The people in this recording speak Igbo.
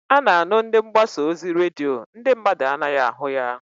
A na-anụ ndị mgbasa ozi redio, ndị mmadụ anaghị ahụ ya.